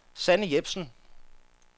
Sanne Jepsen